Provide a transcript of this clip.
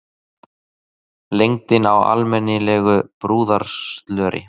Lengdin á almennilegu brúðarslöri.